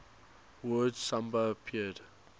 word samba appeared